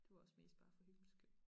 Det var også mest bare for hyggens skyld